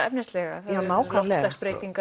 efnisleg hugsunarefni já nákvæmlega